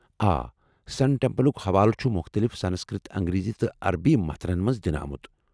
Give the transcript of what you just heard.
آ، سن ٹیمپلُك حوالہٕ چُھ مختٔلف سنسکرت ، انگریزی تہٕ عربی متنن منٛز دِنہٕ آمُت ۔